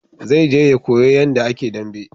Zai je ya koya yanda a ke dambe